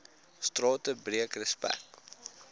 strate breek respek